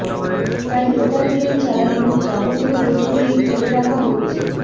তাই local train চালানোর যাবতীয় প্রস্তুতি করে রাখা হচ্ছে